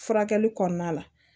Furakɛli kɔnɔna la